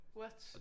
What!